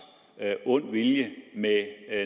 ond vilje med